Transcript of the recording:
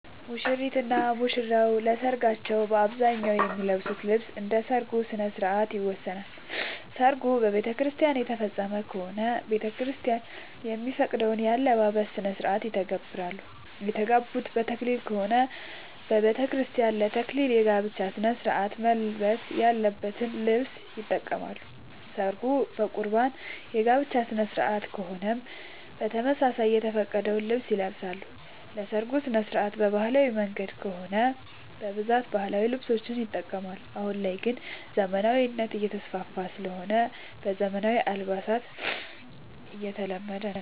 ሙሽሪት እና ሙሽራ ለሰርካቸው በአብዛኛው የሚለብሱት ልብስ እንደ ሠርጉ ስነስርዓት ይወሰናል። ሰርጉ በቤተክርስቲያን የተፈፀመ ከሆነ ቤተክርስቲያን የሚፈቅደውን የአለባበስ ስነስርዓት ይተገብራሉ። የተጋቡት በተክሊል ከሆነ በቤተክርስቲያን ለ ተክሊል የጋብቻ ስነስርዓት መልበስ ያለበትን ልብስ ይጠቀማሉ። ሰርጉ በቁርባን የጋብቻ ስነስርዓት ከሆነም በተመሳሳይ የተፈቀደውን ልብስ ይለብሳሉ። የሰርጉ ስነስርዓት በባህላዊ መንገድ ከሆነ በብዛት ባህላዊ ልብሶችን ይጠቀማሉ። አሁን ላይ ግን ዘመናዊነት እየተስፋፋ ስለሆነ ዘመናዊ አልባሳት እየተለመደ ነው።